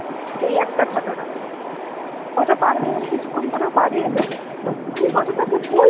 এই একটা ঘটনা ওটা পার হয়ে গেলো কিছুক্ষণ পর ও বাড়ি এলো আমি কথাটা ওকে বল